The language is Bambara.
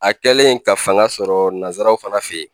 A kɛlen ka fanga sɔrɔ nanzaraw fana fe yen